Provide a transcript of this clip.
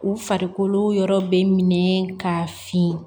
U farikolo yɔrɔ bɛ minɛ ka fin